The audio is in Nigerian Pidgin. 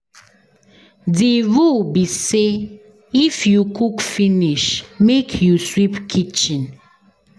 Di rule be sey if you cook finish make you sweep kitchen.